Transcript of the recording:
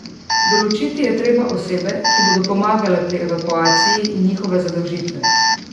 Določiti je treba osebe, ki bodo pomagale pri evakuaciji, in njihove zadolžitve.